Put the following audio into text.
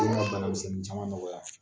O ye n ka banamiɛnin caman nɔgɔya .